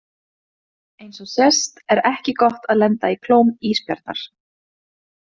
Eins og sést er ekki gott að lenda í klóm ísbjarnar.